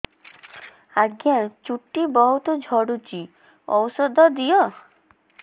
ଆଜ୍ଞା ଚୁଟି ବହୁତ୍ ଝଡୁଚି ଔଷଧ ଦିଅ